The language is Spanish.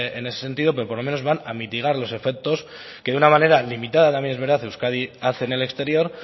en ese sentido pero por lo menos van a mitigar los efectos que de una manera limitada también es verdad euskadi hace en el exterior